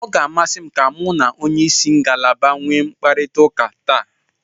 Ọ ga-amasị m ka mu na onye isi ngalaba nwee mkparịtaụka taa.